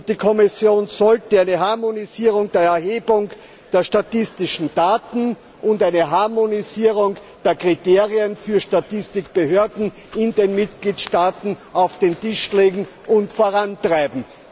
Die Kommission sollte eine Harmonisierung der Erhebung der statistischen Daten und eine Harmonisierung der Kriterien für Statistikbehörden in den Mitgliedstaaten auf den Tisch legen und vorantreiben.